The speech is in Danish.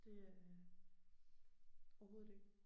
Det øh overhovedet ikke